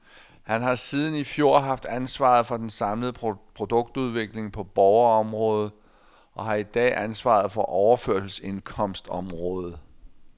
Han har siden i fjor haft ansvaret for den samlede produktudvikling på borgerområdet og har i dag ansvaret for overførselsindkomstområdet.